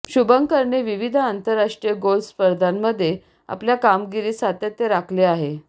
शुभंकरने विविध आंतरराष्ट्रीय गोल्फ स्पर्धामध्ये आपल्या कामगिरीत सातत्य राखले आहे